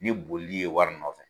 Ni boli ye wari nɔfɛ.